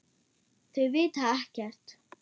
Þau vita ekkert.